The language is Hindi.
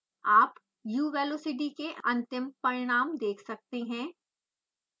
आप u velocity के अंतिम परिणाम देख सकते हैं